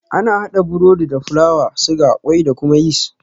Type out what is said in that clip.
Ana haɗa burodi da fulawa, suga, kwai da kuma yis.